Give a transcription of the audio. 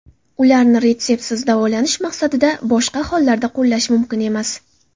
Ularni retseptsiz, davolanish maqsadidan boshqa hollarda qo‘llash mumkin emas.